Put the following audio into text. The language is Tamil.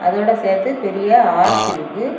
இதோட சேர்த்து பெரிய ஆர்ச் இருக்கு.